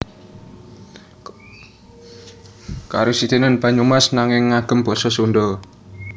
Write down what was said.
Karasidenan Banyumas nanging ngagem basa Sundha